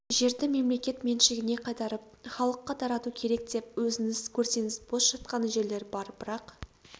жерді мемлекет меншігіне қайтарып іалыққа тарату керек деп өзіңіз көрсеңіз бос жатқан жерлер бар бірақ